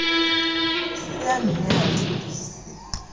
se a ne a thobise